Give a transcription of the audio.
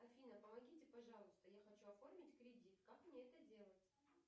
афина помогите пожалуйста я хочу оформить кредит как мне это делать